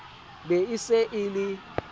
be e se e le